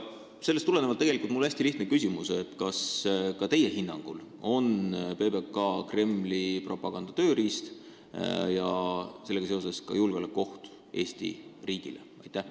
Sellest tulenevalt on mul tegelikult hästi lihtne küsimus: kas ka teie hinnangul on PBK Kremli propaganda tööriist ja seega ka julgeolekuoht Eesti riigile?